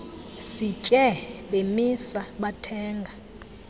sitye bemisa bathenga